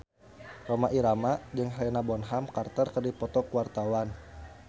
Rhoma Irama jeung Helena Bonham Carter keur dipoto ku wartawan